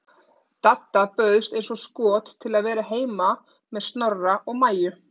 Dadda bauðst eins og skot til að vera heima með Snorra og Maju.